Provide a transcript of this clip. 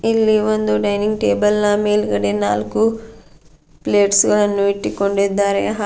ಇಲ್ಲಿ ಒಂದು dining table ನ ಮೇಲ್ಗಡೆ ನಾಲ್ಕು ಪ್ಲೇಟ್ಸ್ ಗಳನ್ನು ಇಟ್ಟುಕೊಂಡಿದ್ದಾರೆ ಹಾಗೂ --